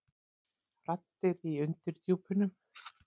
Raddir í undirdjúpunum.